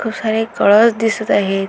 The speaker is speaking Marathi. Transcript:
खूप सारे कळस दिसत आहेत.